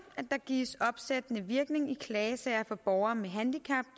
at der gives opsættende virkning i klagesager for borgere med handicap